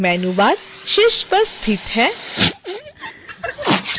menu bar शीर्ष पर स्थित है